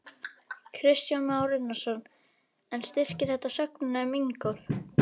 Kristján Már Unnarsson: En styrkir þetta sögnina um Ingólf?